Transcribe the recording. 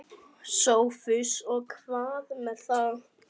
SOPHUS: Og hvað með það?